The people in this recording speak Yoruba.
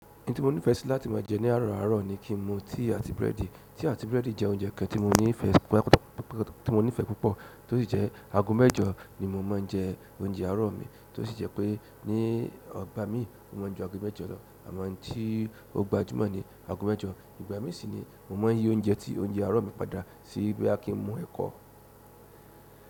Ohun tí mo nífẹẹ sí láti máa jẹ ní àárọ̀ àárọ̀ ni kí n mu tea àti búrẹ́dì. Tea àti búrẹ́dì jẹ́ oúnjẹ kan tí mo nífẹ̀ẹ́ púpọ̀, tó sì jẹ́ ago mẹ́jọ ni mo máa ń jẹ oúnjẹ àárọ̀ mi, tó sì jẹ́ pé ní ogbà mi, o máa m ju ago mẹ́jọ lọ, àmọ́ tí ó gbajúmọ̀ ni ago mẹ́jọ. Ìgbà mí sì ni mo máa yí oúnjẹ tí oúnjẹ àárọ̀ mi padà sí bí boya kí n mu ẹ̀kọ.